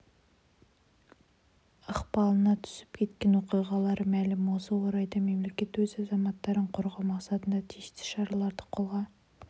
ықпалына түсіп кеткен оқиғалары мәлім осы орайда мемлекет өз азаматтарын қорғау мақсатында тиісті шараларды қолға